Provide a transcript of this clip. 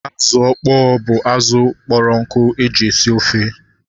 Azụ ọkpọ bụ azụ kpọrọ nkụ eji esi ofe